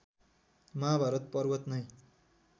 महाभारत पर्वत नै